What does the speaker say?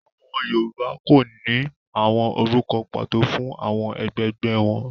Àwọn Yorùbá kò ní àwọn orúkọ pàtó fún àwọn ẹgbẹgbẹ́ wọn.